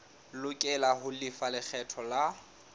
lokela ho lefa lekgetho la